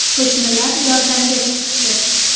Qo‘shnilar yordamga chiqishdi.